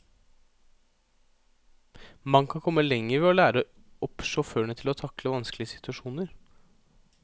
Man kan komme lenger ved å lære opp sjåførene til å takle vanskelige situasjoner.